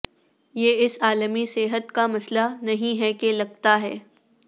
یہ اس عالمی صحت کا مسئلہ نہیں ہے کہ لگتا ہے